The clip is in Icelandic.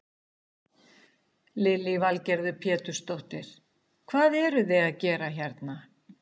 Lillý Valgerður Pétursdóttir: Hvað eruð þið að gera hérna?